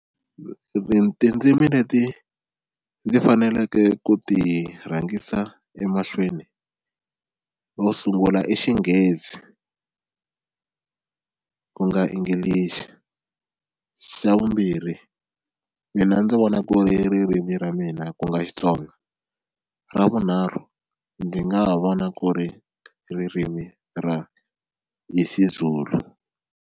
tindzimi leti ndzi faneleke ku ti rhangisa emahlweni yo sungula i Xinghezi ku nga English, xa vumbirhi mina ndzi vona ku ri ririmi ra mina ku nga Xitsonga, ra vunharhu ndzi nga ha vona ku ri ririmi ra IsiZulu.